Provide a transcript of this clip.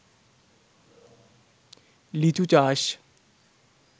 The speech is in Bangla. লিচু চাষ